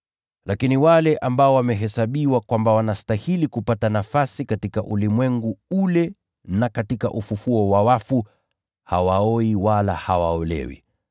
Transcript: Lakini wale ambao wamehesabiwa kwamba wanastahili kupata nafasi katika ulimwengu ule na katika ufufuo wa wafu, hawaoi wala hawaolewi.